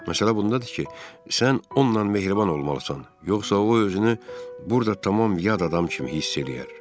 Məsələ bundadır ki, sən onunla mehriban olmalısan, yoxsa o özünü burada tamam yad adam kimi hiss eləyər.